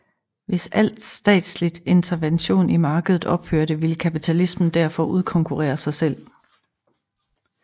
Hvis alt statsligt intervention i markedet ophørte ville kapitalismen derfor udkonkurrere sig selv